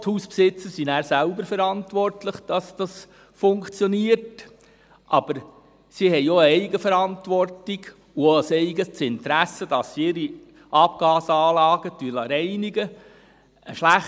Die Hausbesitzer sind nachher selber verantwortlich, dass dies funktioniert, aber sie haben auch eine Eigenverantwortung und auch ein eigenes Interesse, ihre Abgasanlagen reinigen zu lassen.